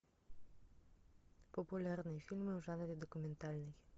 популярные фильмы в жанре документальный